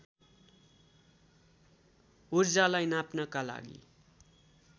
ऊर्जालाई नाप्नका लागि